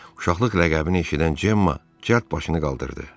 Uşaqlıq ləqəbini eşidən Cemma cəld başını qaldırdı.